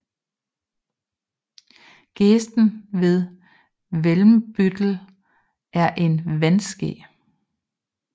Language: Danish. Gesten ved Welmbüttel er et vandskel